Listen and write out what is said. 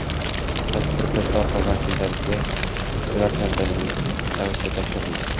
Tadbirda soha vakillariga ular tantanali ravishda topshirildi.